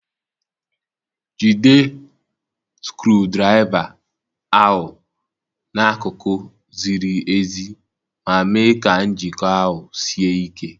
Jide skru draiva ahu n'akụkụ ziri ezi ma mee ka njiko ahụ sie ike.